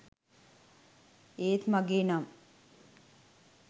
ඒත් මගේ නම්